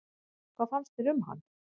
Hvað fannst þér um hann?